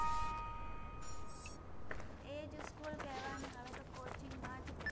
તો એ જ school કહેવાનું, હવે તો coaching માં જ